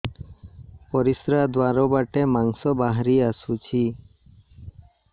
ପରିଶ୍ରା ଦ୍ୱାର ବାଟେ ମାଂସ ବାହାରି ଆସୁଛି